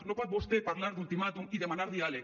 no pot vostè parlar d’ultimàtum i demanar diàleg